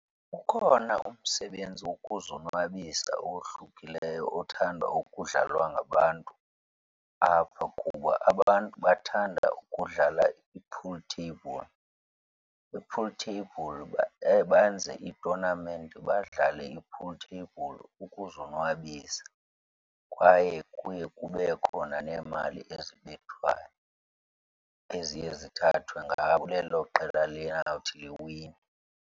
Ukhona umsebenzi wokuzonwabisa owohlukileyo othandwa ukudlalwa ngabantu apha kuba abantu bathanda ukudla i-pool table. I-pool table benze itonamenti, badlale i-pool table ukuzonwabisa kwaye kuye kube khona neemali ezibethwayo eziye zithathwe lelo qela liyawuthi liwine.